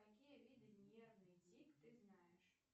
какие виды нервный тик ты знаешь